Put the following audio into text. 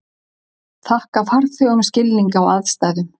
Þakka farþegum skilning á aðstæðum